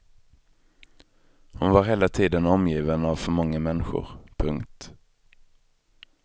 Hon var hela tiden omgiven av för många människor. punkt